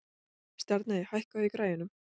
Stjarney, hækkaðu í græjunum.